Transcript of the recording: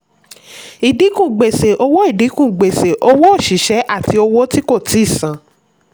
ìdínkù gbèsè: owó ìdínkù gbèsè: owó òṣìṣẹ́ àti owó tí kò tíì san.